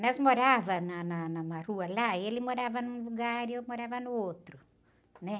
Nós morávamos na, na, numa rua lá, ele morava num lugar e eu morava no outro.